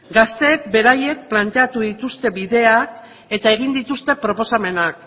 gazteek beraiek planteatu dituzte bideak eta egin dituzte proposamenak